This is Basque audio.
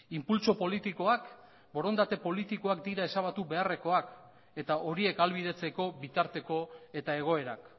inpultso politikoak borondate politikoak dira ezabatu beharrekoak eta horiek ahalbidetzeko bitarteko eta egoerak